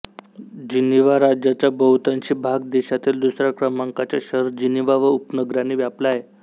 Geneva राज्याचा बहुतांशी भाग देशातील दुसऱ्या क्रमांकाचे शहर जिनिव्हा व उपनगरांनी व्यापला आहे